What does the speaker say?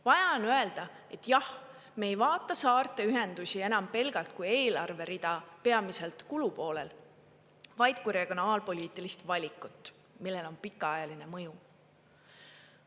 Vaja on öelda, et jah, me ei vaata saarte ühendusi enam pelgalt kui eelarverida, peamiselt kulupoolel, vaid kui regionaalpoliitilist valikut, millel on pikaajaline mõju.